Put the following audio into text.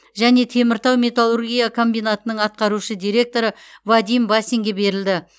және теміртау металлургия комбинатының атқарушы директоры вадим басинге берілді